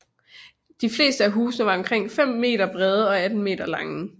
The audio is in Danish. De fleste af husene var omkring 5 m brede og 18 m lange